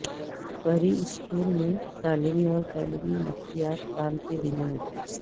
پری school میں تعلیمی اور تعلیمی نفسیات کام کے دنوں میں